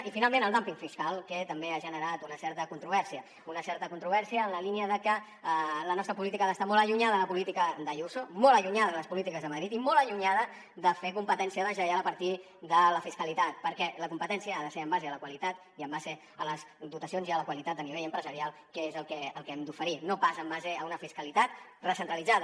i finalment el dumping fiscal que també ha generat una certa controvèrsia una certa controvèrsia en la línia de que la nostra política ha d’estar molt allunyada de la política d’ayuso molt allunyada de les polítiques de madrid i molt allunyada de fer competència deslleial a partir de la fiscalitat perquè la competència ha de ser en base a la qualitat i en base a les dotacions i a la qualitat a nivell empresarial que és el que hem d’oferir no pas en base a una fiscalitat recentralitzada